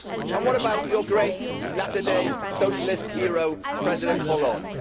And what about your great, latter day socialist hero, President Hollande?